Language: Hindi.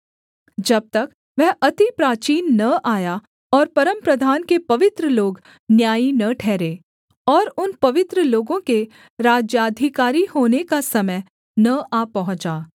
जब तक वह अति प्राचीन न आया और परमप्रधान के पवित्र लोग न्यायी न ठहरे और उन पवित्र लोगों के राज्याधिकारी होने का समय न आ पहुँचा